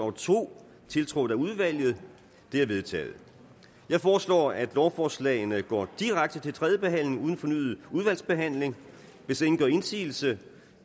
og to tiltrådt af udvalget de er vedtaget jeg foreslår at lovforslagene går direkte til tredje behandling uden fornyet udvalgsbehandling hvis ingen gør indsigelse